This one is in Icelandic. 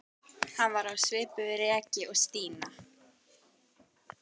Hann var á svipuðu reki og Stína.